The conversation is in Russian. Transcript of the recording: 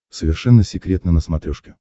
совершенно секретно на смотрешке